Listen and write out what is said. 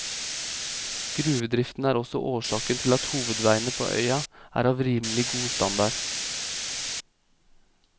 Gruvedriften er også årsaken til at hovedveiene på øya er av rimelig god standard.